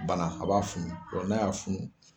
Bana a b'a funu n'a y'a funu